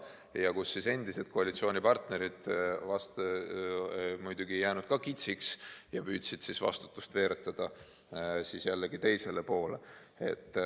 Ja ega siis endised koalitsioonipartnerid ka kitsiks ei jäänud ja püüdsid vastutust veeretada jällegi teisele poolele.